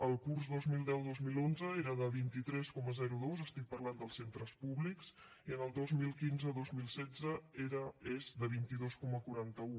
al curs dos mil deu dos mil onze era de vint tres coma dos parlo dels centres públics i en el dos mil quinze dos mil setze és de vint dos coma quaranta un